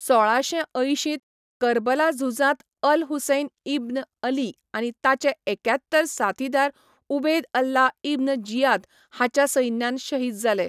सोळाशे अंयशींत कर्बला झुजांत अल हुसैन इब्न अली आनी ताचे एक्यात्तर साथीदार उबेद अल्ला इब्न जियाद हाच्या सैन्यान शहीद जाले.